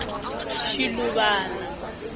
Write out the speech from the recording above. shiluvana